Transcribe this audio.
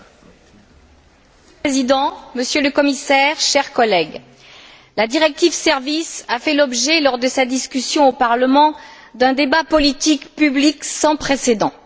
Monsieur le Président, Monsieur le Commissaire, chers collègues, la directive sur les services a fait l'objet, lors de sa discussion au Parlement, d'un débat politique public sans précédent.